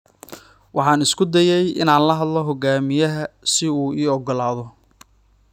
Waxaan isku dayay inaan la hadlo hogaamiyaha si uu ii ogolaado.